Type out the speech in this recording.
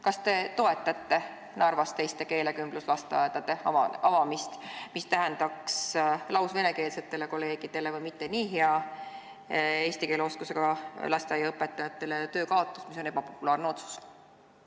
Kas te toetate Narvas teiste keelekümbluslasteaedade avamist, mis tähendaks lausvenekeelsetele või mitte nii hea eesti keele oskusega lasteaiaõpetajatele töökaotust ja oleks seega ebapopulaarne otsus?